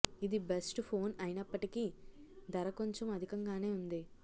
ఇది best phone అయినప్పటికీ ధర కొంచెం అధికంగానే వుంది